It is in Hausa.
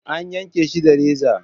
An yanke shi da reza.